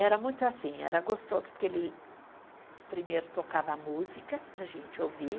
Era muito assim, era gostoso porque ele primeiro tocava a música para a gente ouvir,